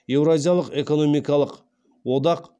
еуразиялық экономикалық одақ